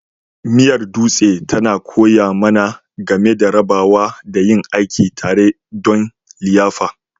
Miyar Dutse tana koya mana game da rabawa da yin aiki tare don liyafa.